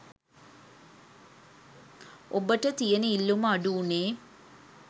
ඔබට තියෙන ඉල්ලුම අඩු වුණේ